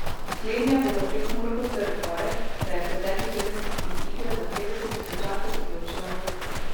Slednja bo za Prekmurko trd oreh, saj je pretekli teden iz igre za petdeset tisočakov izločila Marušo.